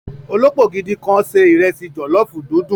Olópò gidi kan sé ìrẹsì jòlọ́fù dundun.